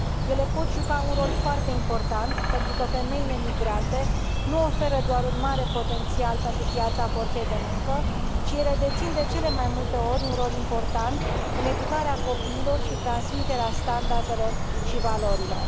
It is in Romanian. Ele pot juca un rol foarte important, pentru că femeile migrante nu oferă doar un mare potențial pentru piața forței de muncă, ci ele dețin, de cele mai multe ori, un rol important în educarea copiilor și transmiterea standardelor și valorilor.